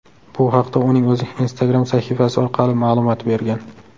Bu haqda uning o‘zi Instagram sahifasi orqali ma’lumot bergan.